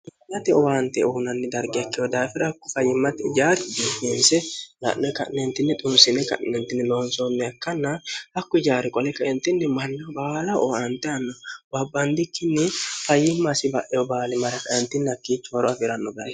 hlate owaante uhunanni darge ekkehu daafira hakku fayyimmati jaari dihiinse la'ne ka'neentinni xunsine ka'neentinni loonsoonne akkannaa hakku jaari qole kaintinni manneh baala oaante anno waabbaandikkinni fayyimmasi ba'eho baali maraqayintinnakkiichi horo afiiranno baaeri